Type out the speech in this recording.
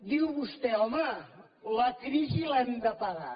diu vostè home la crisi l’hem de pagar